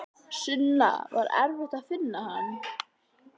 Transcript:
Sunna: Var erfitt að finna hann?